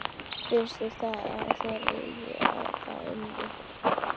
Finnst þér ekki að þeir eigi það inni?